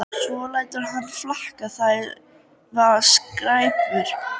Svo lætur hann það flakka: Það var skræpa